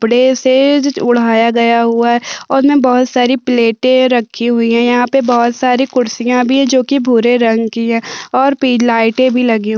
बड़े से ओढ़ाया गया हुआ है और मै बहुत सारी प्लेटे रखी हुई है यहाँ पे बहुत सारी कुर्सियां भी जो की भूरे रंग की है और लाइट भी लगी है।